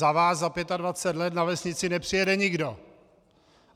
Za vás za 25 let na vesnici nepřijede nikdo!